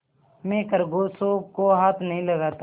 मैं खरगोशों को हाथ नहीं लगाता